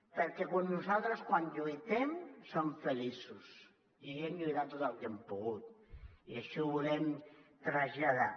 perquè nosaltres quan lluitem som feliços i hem lluitat tot el que hem pogut i així ho volem traslladar